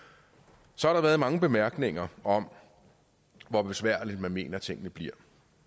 så har der været mange bemærkninger om hvor besværlige man mener tingene bliver